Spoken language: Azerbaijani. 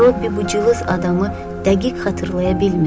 Robbi bu cılız adamı dəqiq xatırlaya bilmirdi.